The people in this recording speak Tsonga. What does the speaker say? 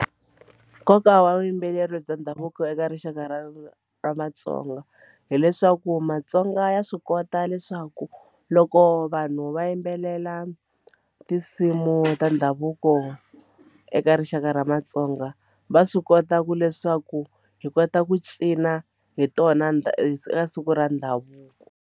Nkoka wa vuyimbeleri bya ndhavuko eka rixaka ra ra Matsonga hileswaku Matsonga ya swi kota leswaku loko vanhu va yimbelela tinsimu ta ndhavuko eka rixaka ra Matsonga va swi kota ku leswaku hi kota ku cina hi tona ka siku ra ndhavuko.